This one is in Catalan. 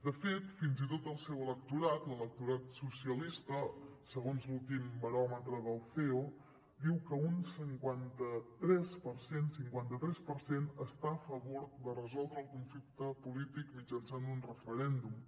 de fet fins i tot el seu electorat l’electorat socialista segons l’últim baròmetre del ceo diu que un cinquanta tres per cent està a favor de resoldre el conflicte polític mitjançant un referèndum